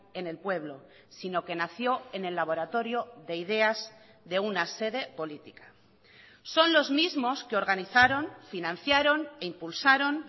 en el pueblo sino que nació en el laboratorio de ideas de una sede política son los mismos que organizaron financiaron impulsaron